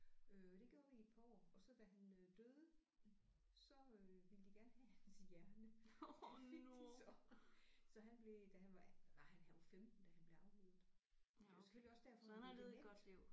Øh det gjorde vi i et par år og så da han øh døde så øh ville de gerne have hans hjerne det fik de så. Så han blev da han var blev hvad var han han var 15 da han blev aflivet det var selvfølgelig også derfor han var blevet dement